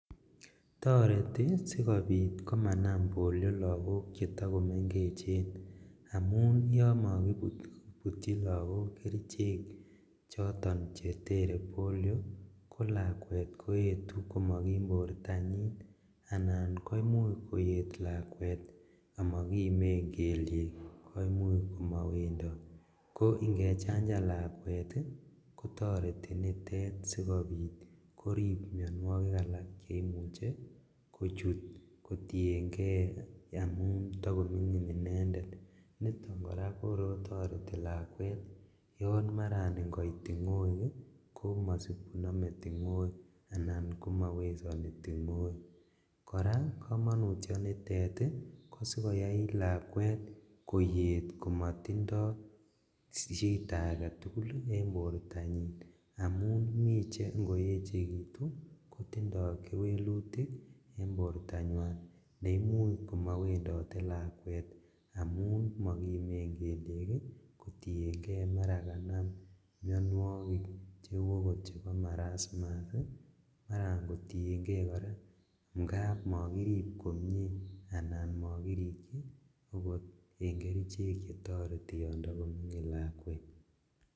Toreti sikobit komana polio lagok chetokomengech qmun yon mokibutchi lagok kerichek choton chetere polio kolakwet koetu komokim bortanyin anan koimuch koyet lakwet omokimen keliek koimuch komowendot, ko ingechanjen lakwet ii kotoreti nitet sikobit korib mionuokik alak cheimuche kochut kotiengee amun tokomingin inendet, niton koraa kokor kotoreti lakwet yon maran ingoit tingoek ii komosib konome tingoek anan komowesoni tingoek, koraa komonutionitet ii kosikoyai lakwet koyet komotindo shida aketugul en bortanyin amun mi cheingoyechekitu kotindo kewelutik en bortanywan neimuch komowendote lakwet amun mokimen keliek ii kotiengee mara okot kanam mionuokik cheu okot chebo marasmus maran kotiengee koraa ingap mokirip komie anan mokirikchi okot en kerichek chetokotoreti yon mingin lakwet.